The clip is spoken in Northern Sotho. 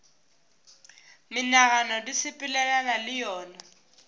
menagano di sepelelana le yona